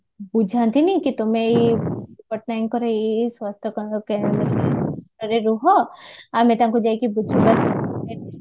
ବୁଝାନ୍ତିନି କି ତମେ ଏଇ ପଟ୍ଟନାୟକଙ୍କର ଏଇ ଏଇ ସ୍ୱାସ୍ଥ୍ୟ ରୁହ ଆମ ତାଙ୍କୁ ଯାଇକି